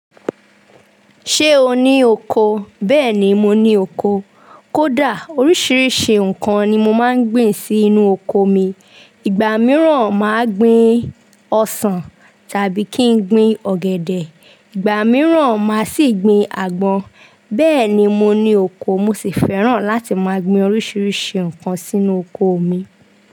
Ṣé o ní oko? Bẹ́ẹ̀ ni, mo ní oko. Kódà oríṣiríṣi nǹkan ni mo máa ń gbin sí inú oko mi. Ìgbà mìíràn máa gbin ọsàn tàbí kí n gbin ọ̀gẹ̀dẹ̀, ìgbà mìíràn máa sì gbin àgbọn. Bẹ́ẹ̀ ni, mo ní oko mo sì fẹ́ràn láti máa gbin oríṣiríṣi nǹkan sínú oko mi.